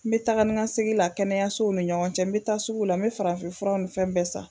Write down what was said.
N me taga ni ka segin la kɛnɛyasow ni ɲɔgɔn cɛ n me taa sugu la n me farafin furaw ni fɛn bɛɛ san